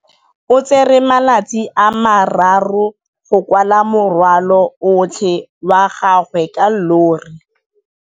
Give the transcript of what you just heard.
O tsere malatsi a le marraro go rwala morwalo otlhe wa gagwe ka llori.